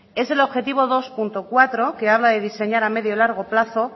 es el objetivo dos punto cuatro que habla de diseñar a medio y largo plazo